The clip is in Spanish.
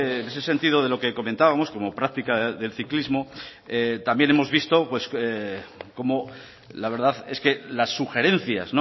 en ese sentido de lo que comentábamos como práctica del ciclismo también hemos visto cómo la verdad es que las sugerencias